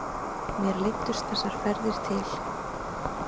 Mér leiddust þessar ferðir til